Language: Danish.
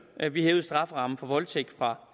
at vi hævede strafferammen for voldtægt fra